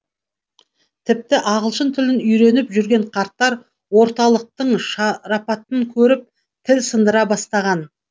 тіпті ағылшын тілін үйреніп жүрген қарттар орталықтың шарапатын көріп тіл сындыра бастаған